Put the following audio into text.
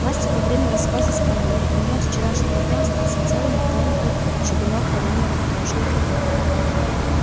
настя во время рассказа вспомнила у нее от вчерашнего дня остался целый нетронутый чугунок варёной картошки